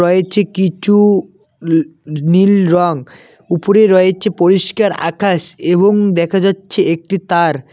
এই ছে কিছু উ নীল রঙ উপরে রয়েছে পরিষ্কার আকাশ এবং দেখা যাচ্ছে একটি তার।